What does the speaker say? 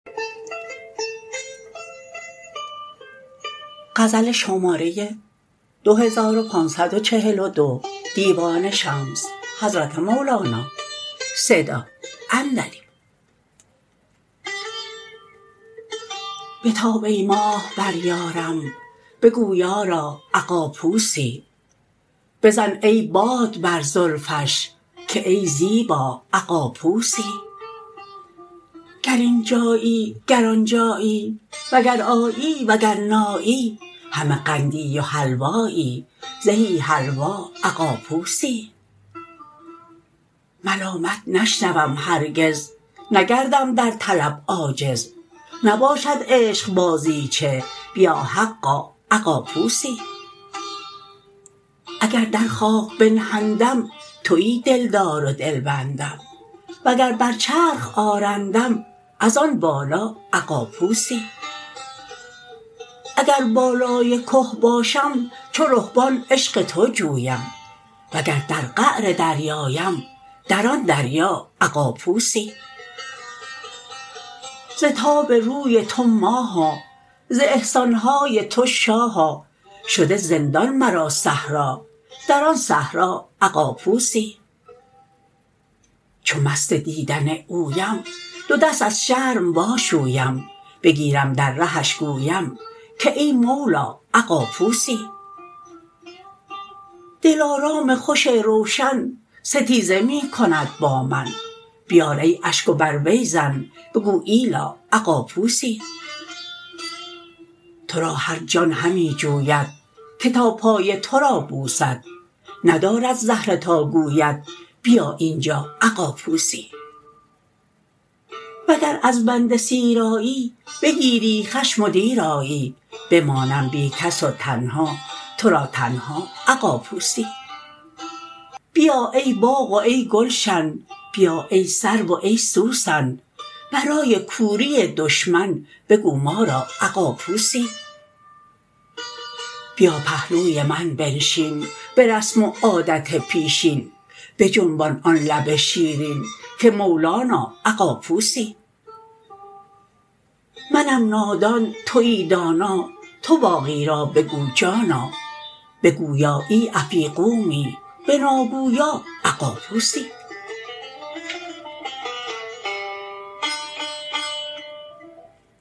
بتاب ای ماه بر یارم بگو یارا اغاپوسی بزن ای باد بر زلفش که ای زیبا اغاپوسی گر اینجایی گر آنجایی وگر آیی وگر نایی همه قندی و حلوایی زهی حلوا اغاپوسی ملامت نشنوم هرگز نگردم در طلب عاجز نباشد عشق بازیچه بیا حقا اغاپوسی اگر در خاک بنهندم توی دلدار و دلبندم وگر بر چرخ آرندم از آن بالا اغاپوسی اگر بالای که باشم چو رهبان عشق تو جویم وگر در قعر دریاام در آن دریا اغاپوسی ز تاب روی تو ماها ز احسان های تو شاها شده زندان مرا صحرا در آن صحرا اغاپوسی چو مست دیدن اویم دو دست از شرم واشویم بگیرم در رهش گویم که ای مولا اغاپوسی دلارام خوش روشن ستیزه می کند با من بیار ای اشک و بر وی زن بگو ایلا اغاپوسی تو را هر جان همی جوید که تا پای تو را بوسد ندارد زهره تا گوید بیا اینجا اغاپوسی وگر از بنده سیرآبی بگیری خشم و دیر آیی بماند بی کس و تنها تو را تنها اغاپوسی بیا ای باغ و ای گلشن بیا ای سرو و ای سوسن برای کوری دشمن بگو ما را اغاپوسی بیا پهلوی من بنشین به رسم و عادت پیشین بجنبان آن لب شیرین که مولانا اغاپوسی منم نادان توی دانا تو باقی را بگو جانا به گویایی افیغومی به ناگویا اغاپوسی